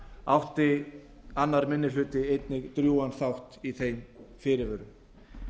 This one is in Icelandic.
átti annar minni hluti einnig drjúgan þátt í þeim fyrirvörum